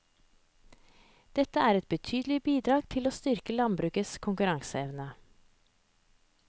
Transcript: Dette er et betydelig bidrag til å styrke landbrukets konkurranseevne.